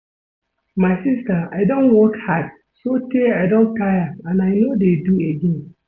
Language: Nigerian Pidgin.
My sister I don work hard so tey I don tire and I no dey do again